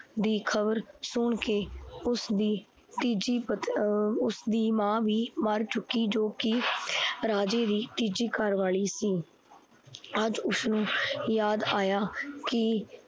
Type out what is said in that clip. ਦੀ ਖਬਰ ਸੁਣਕੇ ਉਸਦੀ ਤੀਜੀ ਪਤਨੀ ਅਹ ਉਸਦੀ ਮਾ ਵੀ ਮਰ ਚੁੱਕੀ ਜੋ ਕੀ ਰਾਜੇ ਦੀ ਤੀਜੀ ਘਰਵਾਲੀ ਸੀ। ਅੱਜ ਉਸਨੂੰ ਯਾਦ ਆਇਆ ਕੀ